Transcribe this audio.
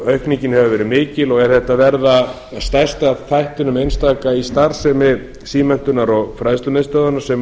aukningin hefur verið mikil og er þetta að verða að stærsta einstaka þættinum í starfsemi símenntunar og fræðslumiðstöðvanna sem